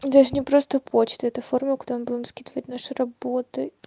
даже мне просто почты это форма куда мы будем скидывать наши работы